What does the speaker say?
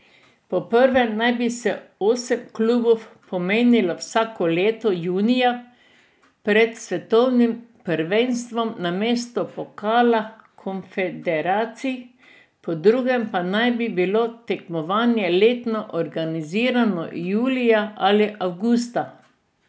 Po prvem naj bi se osem klubov pomerilo vsako leto junija pred svetovnim prvenstvom namesto Pokala konfederacij, po drugem pa naj bi bilo tekmovanje letno organizirano julija ali avgusta.